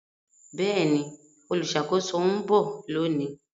Bẹẹni, oluṣakoso n bọ loni